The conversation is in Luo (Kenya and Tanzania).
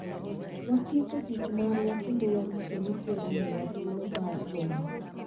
Watieko tich marwa kendo warito ni Ker omiwa thuolo mar romo